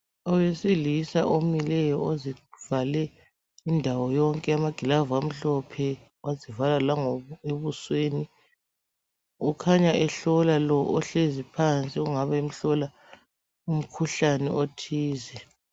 Owesilisa omileyo ozivale indawo yonke, amagilavu amhlophe, wazivala ebusweni ukhanya ehlola lo! ohlezi phansi ongabe emhlola umkhuhlane othize.